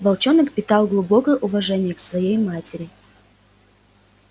волчонок питал глубокое уважение к своей матери